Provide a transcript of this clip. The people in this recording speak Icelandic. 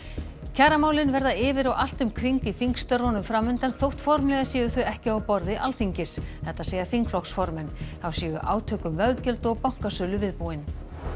kjaramálin verða yfir og allt um kring í þingstörfunum fram undan þótt formlega séu þau ekki á borði Alþingis þetta segja þingflokksformenn þá séu átök um veggjöld og bankasölu viðbúin